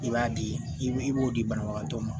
I b'a di i b'o di banabagatɔ ma